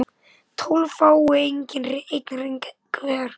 tólf fái einn hring hver